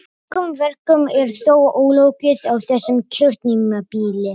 Mörgum verkum er þó ólokið á þessu kjörtímabili.